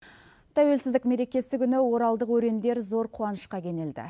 тәуелсіздік мерекесі күні оралдық өрендер зор қуанышқа кенелді